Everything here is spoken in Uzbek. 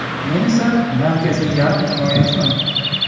Men esa markaziy yarim himoyachiman.